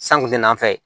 San kun tɛ n'a fɛ